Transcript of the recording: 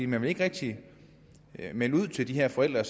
man vil ikke rigtig melde ud til de her forældre